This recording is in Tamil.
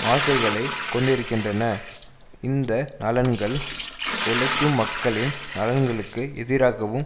ஆசைகளை கொண்டிருக்கின்றன இந்த நலன்கள் உழைக்கும் மக்களின் நலன்களுக்கு எதிராகவும்